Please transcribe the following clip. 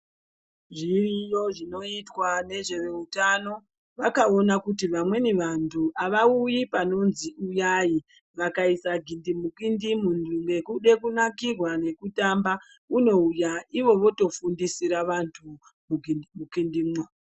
Zviriyo zvinoitwa nezveveutano vakaona kuti vamweni vantu avauyi panonzi uyai vakaisa gindimukindi muntu nekuda kunakirwa ngekutamba unouya ivo votofundisira vantu mugindimukindimwo.